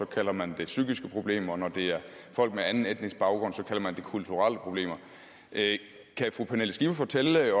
kalder man det psykiske problemer når det er folk med anden etnisk baggrund kalder man det kulturelle problemer kan fru pernille skipper fortælle